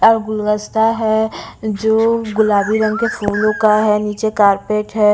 और गुलदस्ता है जो गुलाबी रंग के फूलों का है नीचे कारपेट है।